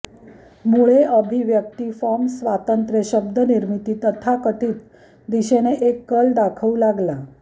मुळे अभिव्यक्ती फॉर्म स्वातंत्र्य शब्द निर्मिती तथाकथित दिशेने एक कल दाखवू लागला